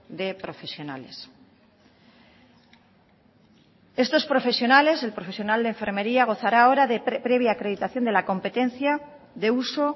de profesionales estos profesionales el profesiones de enfermería gozará ahora de previa acreditación de la competencia de uso